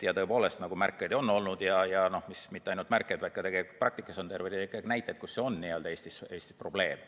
Ja tõepoolest, nagu märkeid on olnud, ja mitte ainult märkeid, vaid ka praktikas on terve rida näiteid, et see on Eestis probleem.